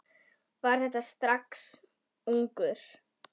Var það strax ungur.